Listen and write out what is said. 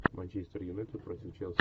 манчестер юнайтед против челси